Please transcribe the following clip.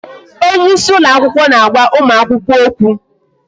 Onyeisi ụlọ akwụkwọ na-agwa ụmụ akwụkwọ okwu